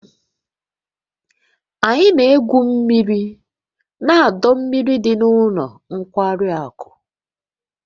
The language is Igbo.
Anyị na-egwu mmiri na ọdọ mmiri dị na ụlọ nkwari akụ